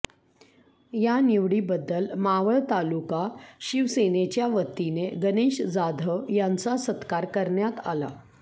या निवडीबद्दल मावळ तालुका शिवसेनेच्या वतीने गणेश जाधव यांचा सत्कार करण्यात आला